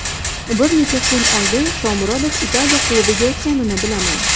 Bir necha kun oldin Shomurodov Italiya klubiga o‘tganini bilaman.